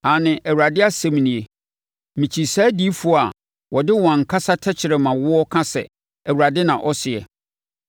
Aane,” Awurade asɛm nie, “mekyi saa adiyifoɔ a wɔde wɔn ankasa tɛkrɛmawoɔ ka sɛ, ‘ Awurade na ɔseɛ.’